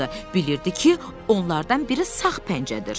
Bilirdi ki, onlardan biri sağ pəncədir.